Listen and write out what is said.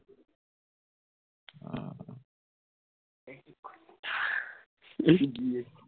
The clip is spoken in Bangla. এই গিয়ে